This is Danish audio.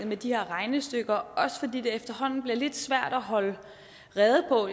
med de her regnestykker også fordi det efterhånden bliver lidt svært at holde rede på